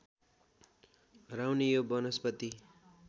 हराउने यो वनस्पति